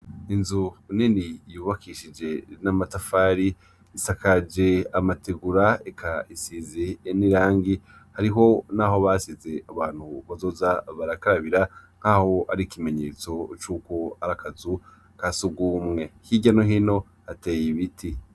Inzu uneni yubakishije rinamatafari isakaje amatigura ekaisizi en i rangi hariho, naho basize abantu bazoza barakarabira nk'aho ari ikimenyetso c'uko ariakazu ka sugumwe hirya nohino ateye ibiti.